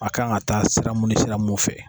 A kan ka taa sira mun ni sira mun fɛ